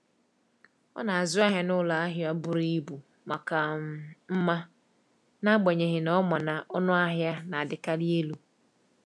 Ọ na-azụ ahịa n’ụlọ ahịa buru ibu maka um mma, n’agbanyeghị na ọ ma na ọnụ ahịa na-adịkarị elu.